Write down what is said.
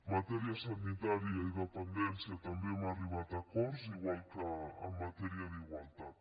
matèria sanitària i dependència també hem arribat a acords igual que en matèria d’igualtat